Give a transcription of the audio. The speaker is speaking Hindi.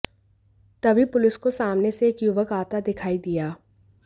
तभी पुलिस को सामने से एक युवक आता दिखाई दिया